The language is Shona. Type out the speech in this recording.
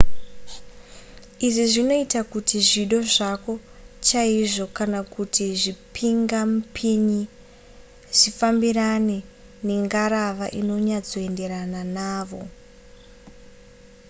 izvi zvinoita kuti zvido zvako chaizvo kana kuti zvipingamupinyi zvifambirane nengarava inonyatsoenderana navo